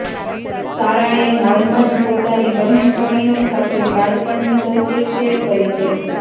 સારાએ હાલમાં જ પોતાની બહેનપણીઓ સાથે બાળપણની તસવીર શેર કરી છે